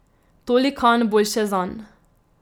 Tolikanj boljše zanj.